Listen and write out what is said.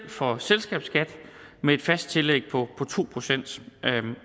for selskabsskat med et fast tillæg på to procent